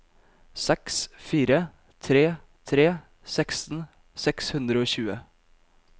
seks fire tre tre seksten seks hundre og tjue